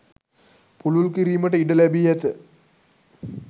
පුළුල් කිරිමට ඉඩ ලැබී ඇත